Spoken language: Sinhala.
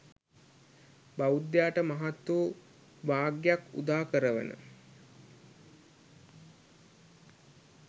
බෞද්ධයාට මහත් වූ භාග්‍යයක් උදා කරවන